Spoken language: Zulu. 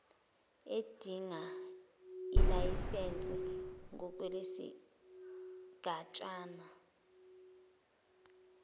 edinga ilayisense ngokwesigatshana